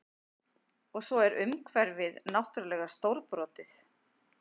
Og svo er umhverfið náttúrlega stórbrotið